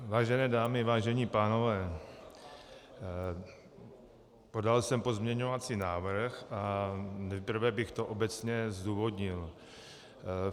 Vážené dámy, vážení pánové, podal jsem pozměňovací návrh a nejprve bych to obecně zdůvodnil.